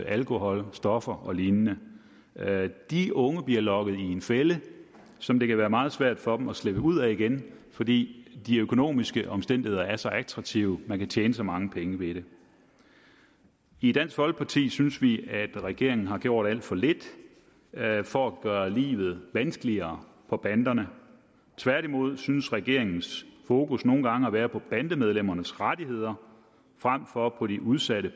alkohol stoffer og lignende de unge bliver lokket i en fælde som det kan være meget svært for dem at slippe ud af igen fordi de økonomiske omstændigheder er så attraktive man kan tjene så mange penge ved det i dansk folkeparti synes vi at regeringen har gjort alt for lidt for at gøre livet vanskeligere for banderne tværtimod synes regeringens fokus nogle gange at være på bandemedlemmernes rettigheder frem for på de udsatte